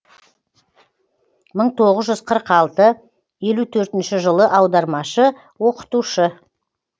мың тоғыз жүз қырық алты елу төртінші жылы аудармашы оқытушы